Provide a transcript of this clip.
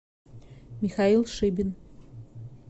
михаил шибин